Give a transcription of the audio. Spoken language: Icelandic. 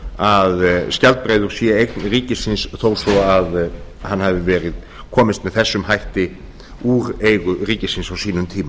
að skjaldbreiður sé eign ríkisins þó svo að hann hafi komist með þessum hætti úr eigu ríkisins á sínum tíma